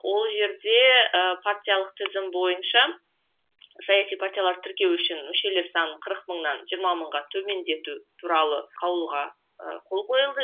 ол жерде ы партиялық тізім бойынша саяси партиялар тіркеу үшін мүшелер саны қырық мыңнан жиырма мыңға төмендету туралы қаулыға ы қол қойылды